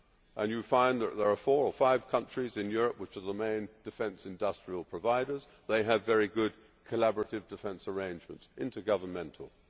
and you will find that there are four or five countries in Europe which are the main defence industry providers and which have very good collaborative defence arrangements intergovernmentally.